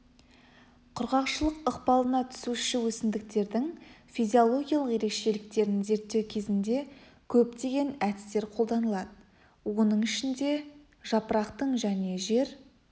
құрғақшылық ықпалына түсуші өсімдіктердің физиологиялық ерекшеліктерін зерттеу кезінде көптеген әдістер қолданылады оның ішінде жапырақтың және жер